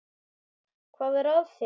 Hvað er að þér?